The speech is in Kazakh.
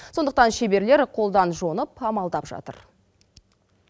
сондықтан шеберлер қолдан жонып амалдап жатыр